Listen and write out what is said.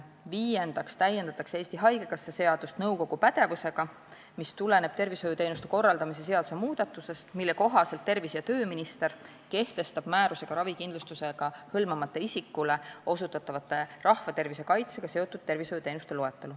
Viiendaks täiendatakse Eesti Haigekassa seadust nõukogu pädevuse sätetega, mis tulenevad tervishoiuteenuste korraldamise seaduse muudatusest, mille kohaselt tervise- ja tööminister kehtestab määrusega ravikindlustusega hõlmamata isikule osutatavate rahvatervise kaitsega seotud tervishoiuteenuste loetelu.